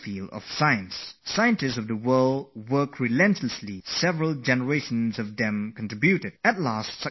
Scientists have labored hard, generations of them have persevered, and after nearly 100 years they have gained a huge success